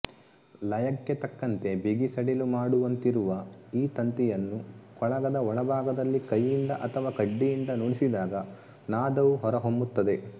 ಲಯಕ್ಕೆ ತಕ್ಕಂತೆ ಬಿಗಿ ಸಡಿಲು ಮಾಡುವಂತಿರುವ ಈ ತಂತಿಯನ್ನು ಕೊಳಗದ ಒಳಭಾಗದಲ್ಲಿ ಕೈಯಿಂದ ಅಥವಾ ಕಡ್ಡಿಯಿಂದ ನುಡಿಸಿದಾಗ ನಾದವು ಹೊರಹೊಮ್ಮುತ್ತದೆ